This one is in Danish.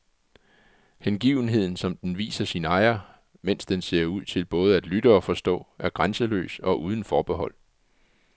Hengivenheden, som den viser sin ejer, mens den ser ud til både at lytte og forstå, er grænseløs og uden forbehold.